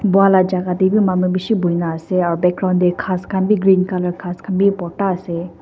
buala jaga de b manu bishi buina ase aro background de kas kan b green color kas kan b borta ase.